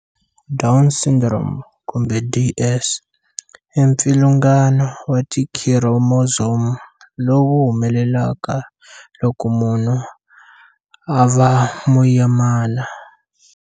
Down Syndrome kumbe, DS, i mpfilungano wa tikhiromozomu lowu wu humelelaka loko munhu a va muyimana.